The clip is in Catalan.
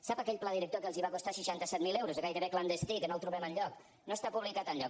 sap aquell pla director que els va costar seixanta set mil euros gairebé clandestí que no el trobem enlloc no està publicat enlloc